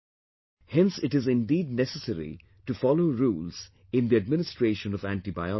Hence it is indeed necessary to follow rules in the administration of antibiotics